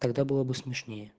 тогда было бы смешнее